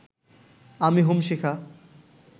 আমি হোম শিখা